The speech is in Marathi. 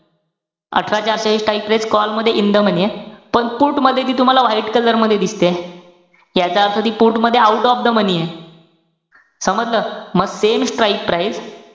अठरा चारशे हि strike price call मध्ये in the money ए. पण put मध्ये ती तुम्हाला white color मध्ये दिसतेय. याचा अर्थ ती put मध्ये out of the ए. समजलं? म same strike price